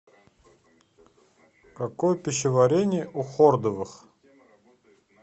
какое пищеварение у хордовых